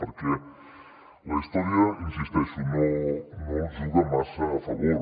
perquè la història hi insisteixo no els juga massa a favor